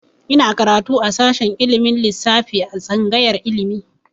Ina karatu a shashin ilimin lissafi a tsangayar ilimi.